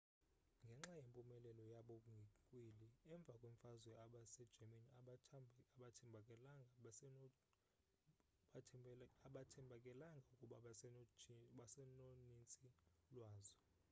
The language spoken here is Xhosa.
ngenxa yempumelelo yabo ngenkwili emva kwemfazwe abase germans abathembakalanga ukuba basenonintsi lwazo